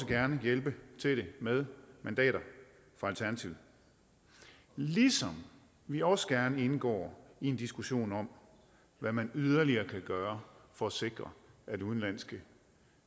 gerne hjælpe til det med mandater fra alternativet ligesom vi også gerne indgår i en diskussion om hvad man yderligere kan gøre for at sikre at udenlandske